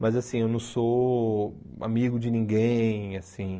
Mas assim, eu não sou amigo de ninguém, assim.